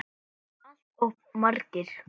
Allt of margir.